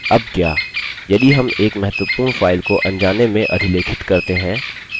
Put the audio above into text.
अब क्या यदि हम एक महत्वपूर्ण file को अनजाने में अधिलेखित करते हैं